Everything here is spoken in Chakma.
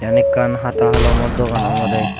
yan ekkan hata holomo dogan obode.